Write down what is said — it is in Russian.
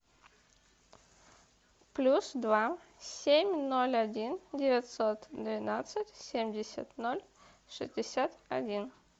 плюс два семь ноль один девятьсот двенадцать семьдесят ноль шестьдесят один